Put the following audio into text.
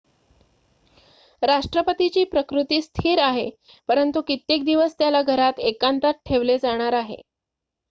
राष्ट्रपतीची प्रकृती स्थिर आहे परंतु कित्येक दिवस त्याला घरात एकांतात ठेवले जाणार आहे